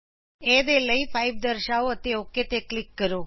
a ਦੇ ਲਈ 5 ਦਰਸ਼ਾਓ ਅਤੇ ਓਕ ਤੇ ਕਲਿਕ ਕਰੋ